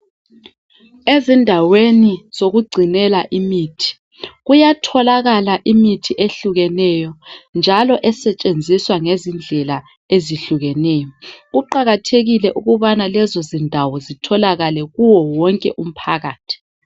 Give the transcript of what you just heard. Ezindaweni zokugcinela imithi kuyatholakala imithi ehlukeneyo njalo esetshenziswa ngezindlela ezihlukeneyo. Kuqakathekile ukubana lezo zindawo zitholakale kuwo wonke umphakathi.